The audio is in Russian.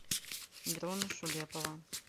дрона шулепова